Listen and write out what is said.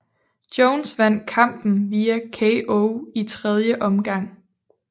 Jones vandt kampen via KO i tredje omgang